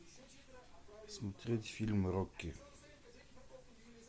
смотреть фильм рокки